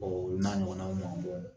o n'a ɲɔgɔnnaw ma